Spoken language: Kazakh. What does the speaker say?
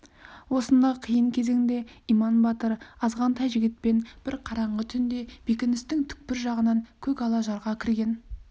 осындай қиын кезеңде иман батыр азғантай жігітпен бір қараңғы түнде бекіністің түкпір жағынан көкала жарға кірген